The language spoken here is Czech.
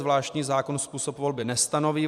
Zvláštní zákon způsob volby nestanoví.